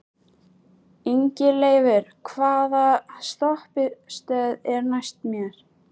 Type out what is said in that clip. Ingileifur, hvaða stoppistöð er næst mér?